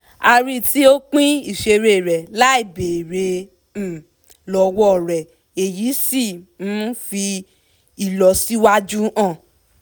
a rí tí ó ń pín ìṣeré rẹ̀ láì béèrè um lọ́wọ́ rẹ̀ èyí sì um fi ìlọsíwájú hàn